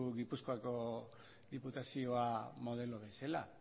gipuzkoako diputazioa modelo bezala